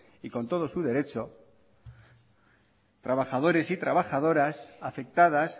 y con todo su derecho trabajadores y trabajadoras afectadas